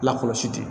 Lakɔlɔsi